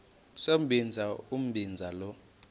sombinza umbinza lo